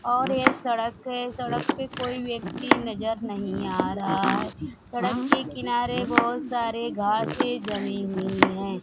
और ये सड़क है सड़क पे कोई व्यक्ति नजर नहीं आ रहा है सड़क के किनारे बहुत सारे घासें जमी हुई हैं।